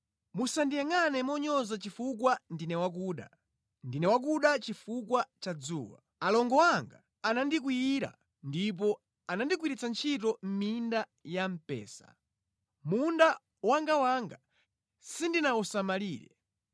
Musandiyangʼane monyoza chifukwa ndine wakuda, ndine wakuda chifukwa cha dzuwa. Alongo anga anandikwiyira ndipo anandigwiritsa ntchito mʼminda ya mpesa; munda wangawanga sindinawusamalire.